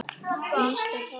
Næst er það bambus.